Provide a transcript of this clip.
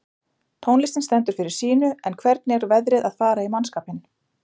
Tónlistin stendur fyrir sínu en hvernig er veðrið að fara í mannskapinn?